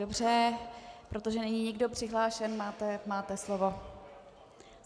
Dobře, protože není nikdo přihlášen, máte slovo.